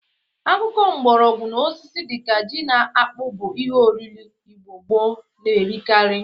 Akụkụ mgbọrọgwọ na osisi dị ka ji na akpụ bụ ihe oriri Igbo gboo na-erikari.